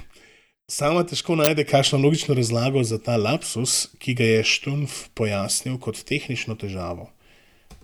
Sama težko najde kakšno logično razlago za ta lapsus, ki ga je Štunf pojasnil kot tehnično težavo.